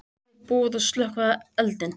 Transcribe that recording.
Búið að slökkva eldinn